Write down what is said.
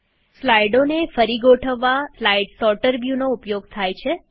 આપણે સ્લાઈડોને ફરી ગોઠવવા સ્લાઈડ સોર્ટર વ્યુનો ઉપયોગ કરીએ છીએ